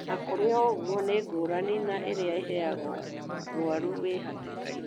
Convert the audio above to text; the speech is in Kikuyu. Ona kũrĩ ũguo nĩ ngũrani na irĩa iheagwo mũrwaru wĩ hatĩkainĩ.